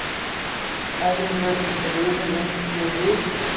Efri vörin rifin út við vik.